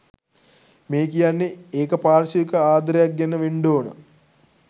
මේ කියන්නේ ඒක පාර්ශවික ආදරයක් ගැන වෙන්ඩෝන